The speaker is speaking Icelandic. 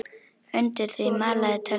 Undir því malaði tölvan.